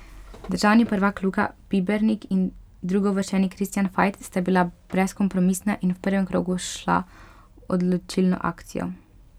Državni prvak Luka Pibernik in drugouvrščeni Kristjan Fajt sta bila brezkompromisna in v prvem krogu šla v odločilno akcijo.